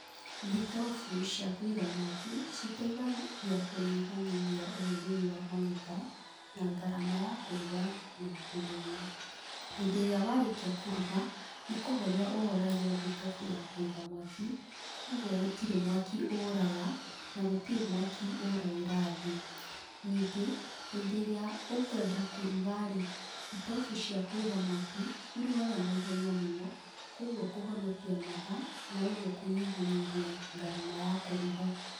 Thitobu cia kũiga mwaki citeithagia kũnyihanyihia ũhũthĩri wa maguta na ngarama ya kũruga na njĩra ĩ no. Hĩndĩ ĩrĩa warĩkia kũruga, nĩkũhoria ũhoragia thitobu ya kũiga mwaki kogwo gũtirĩ mwaki ũraga na gũtirĩ mwaki ũragĩra thĩ. Ningĩ hĩndĩ ĩrĩa ũkwenda kũruga rĩ, thitobu cia kũiga mwaki cirugaga naihenya mũno kogwo ũkũhonokia mathaa na ũguo kũnyihanyihia ngarama ya kũruga.